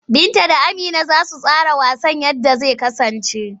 Binta da Amina za su tsara yadda wasan zai kasance.